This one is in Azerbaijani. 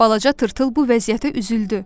Balaca tırtıl bu vəziyyətə üzüldü.